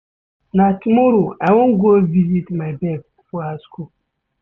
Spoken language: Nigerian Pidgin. Na tomorrow I wan go visit my babe for her skool.